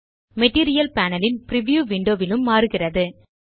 material panel ன் preview window லும் மாறுகிறது